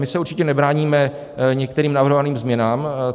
My se určitě nebráníme některým navrhovaným změnám.